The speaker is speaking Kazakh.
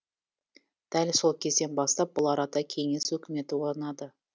дәл сол кезден бастап бұл арада кеңес өкіметі орнады